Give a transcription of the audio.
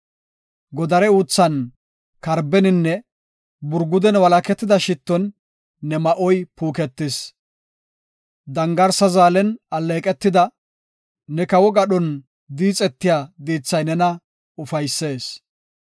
Godare uuthan, karbeninne burguden walaketida shitton, ne ma7oy puuketis. Dangarsa zaalen alleeqetida, ne kawo gadhon diixetiya diithay nena ufaysees.